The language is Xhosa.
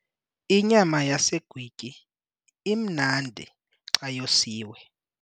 Inyama yesagwityi imnandi xa yosiwe.